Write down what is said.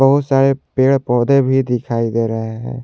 बहुत सारे पेड़ पौधे भी दिखाई दे रहे हैं।